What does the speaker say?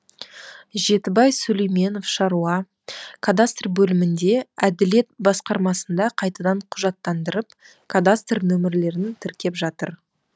жетібай сүлейменов шаруа кадастр бөлімінде әділет басқармасында қайтадан құжаттандырып кадастр нөмірлерін тіркеп жатыр